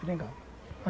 Seringal.